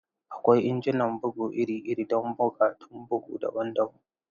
Akwai injunan bugu iri-iri don buƙatun bugu daban-daban.